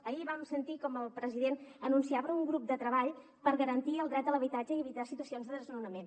ahir vam sentir com el president anunciava un grup de treball per garantir el dret a l’habitatge i evitar situacions de desnonament